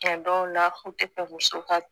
A dɔw la u tɛ bɛn musow ka